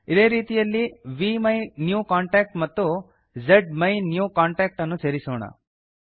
ಇದೇ ರೀತಿಯಲ್ಲ್ಲಿ ವಿಮೈನ್ಯೂಕಾಂಟಾಕ್ಟ್ ಮತ್ತು ಜ್ಮೈನ್ಯೂಕಾಂಟಾಕ್ಟ್ ಅನ್ನು ಸೇರಿಸೋಣ